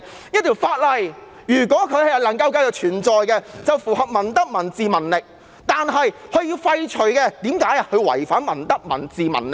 如果一項法例可以繼續存在，它便符合民德、民智、民力；如果要廢除，就是由於它違反了民德、民智、民力。